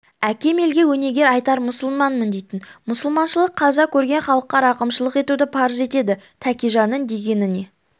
әкем елге өнеге айтар мұсылманмын дейтін мұсылманшылық қаза көрген халыққа рақымшылық етуді парыз етеді тәкежанның дегеніне